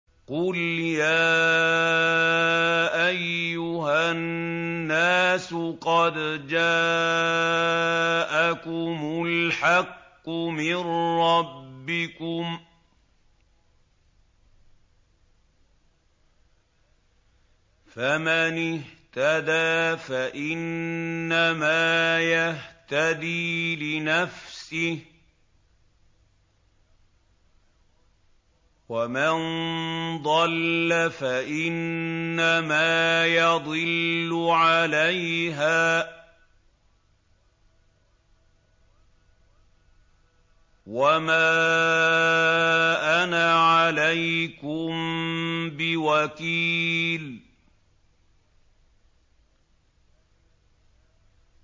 قُلْ يَا أَيُّهَا النَّاسُ قَدْ جَاءَكُمُ الْحَقُّ مِن رَّبِّكُمْ ۖ فَمَنِ اهْتَدَىٰ فَإِنَّمَا يَهْتَدِي لِنَفْسِهِ ۖ وَمَن ضَلَّ فَإِنَّمَا يَضِلُّ عَلَيْهَا ۖ وَمَا أَنَا عَلَيْكُم بِوَكِيلٍ